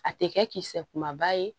A tɛ kɛ kisɛ kumaba ye